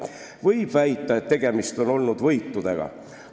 Võib väita, et tegemist oli võitudega.